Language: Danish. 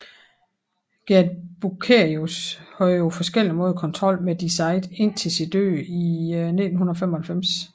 Gerd Bucerius havde på forskellig måde kontrol med Die Zeit indtil sin død i 1995